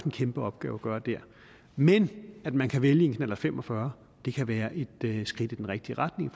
en kæmpe opgave at gøre der men at man kan vælge en knallert fem og fyrre kan være et skridt i den rigtige retning